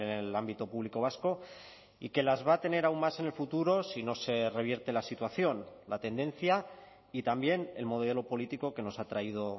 en el ámbito público vasco y que las va a tener aún más en el futuro si no se revierte la situación la tendencia y también el modelo político que nos ha traído